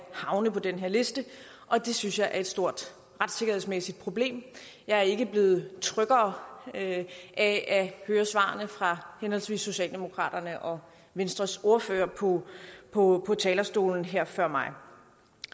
havne på den her liste og det synes jeg er et stort retssikkerhedsmæssigt problem jeg er ikke blevet tryggere af at høre svarene fra henholdsvis socialdemokratiets og venstres ordfører på på talerstolen her før mig